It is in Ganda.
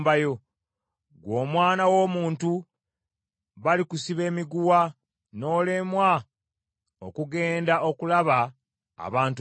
Ggwe omwana w’omuntu balikusiba emiguwa, n’olemwa okugenda okulaba abantu bo.